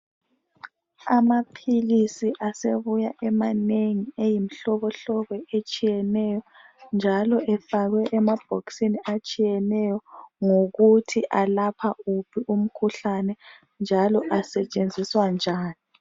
Amaphilisi asebuya emanengi eyimihlobohlobo etshiyeneyo njalo efakwe emabhokisini atshiyeneyo ngokuthi alapha wuphi umkhuhlane njalo asetshenziswa njani